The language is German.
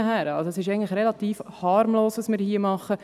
Was wir hier machen, ist eigentlich relativ harmlos.